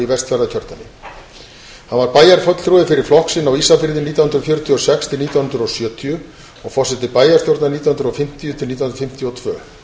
í vestfjarðakjördæmi hann var bæjarfulltrúi fyrir flokk sinn á ísafirði nítján hundruð fjörutíu og sex til nítján hundruð og sjötíu og forseti bæjarstjórnar nítján hundruð og fimmtíu til nítján hundruð fimmtíu og tvö